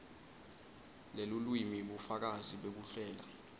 lelulwimi bufakazi bekuhlela